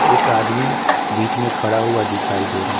एक आदमी बीच में खड़ा हुआ दिखाई दे रहा है।